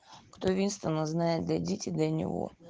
кто винстона знает дойдите до него